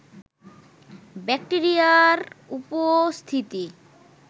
ব্যাক্টেরিয়ার উপস্থিতি